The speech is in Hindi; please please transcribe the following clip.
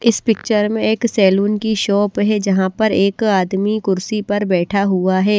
इस पिक्चर में एक सैलून की शॉप है जहाँ पर एक आदमी कुर्सी पर बैठा हुआ है।